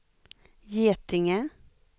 Getinge